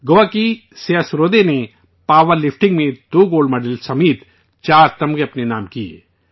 گوا کی سیا سرودے نے power lifting میں 2 گولڈ میڈل سمیت چار میڈل اپنے نام کیے